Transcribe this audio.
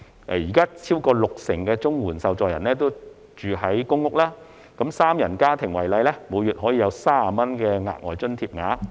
現時超過六成綜援受助人居於公屋，以一個三人家庭為例，每月約有30元的額外津貼額。